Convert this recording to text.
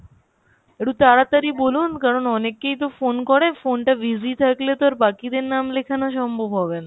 একটু তাড়াতাড়ি বলুন কারণ অনেকেই তো phone করে phone টা busy থাকলে তো আর বাকিদের নাম লিখানো সম্ভব হবে না ?